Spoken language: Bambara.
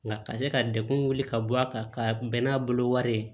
Nka ka se ka dekun wili ka bɔ a kan ka bɛn n'a bolo wari ye